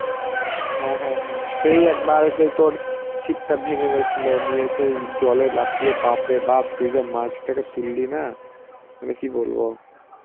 হ্যাঁ হ্যাঁ সেই একবার সেই তোর ছিপটা ভেঙে গেছিল নিয়ে সেই জলে লাফিয়ে বাপরে বাপ তুই যা মাছটাকে তুললি না, মানে কি বলবো.